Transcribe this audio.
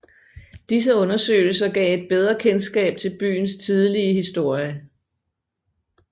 Disse undersøgelser gav et bedre kendskab til byens tidlige historie